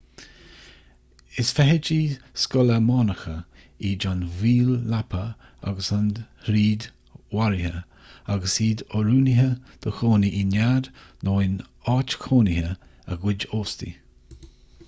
is feithidí scolamánacha iad an mhíol leapa agus an fhríd mharaithe agus iad oiriúnaithe do chónaí i nead nó in áit chónaithe a gcuid óstaigh